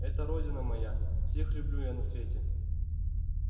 это родина моя всех люблю я на свете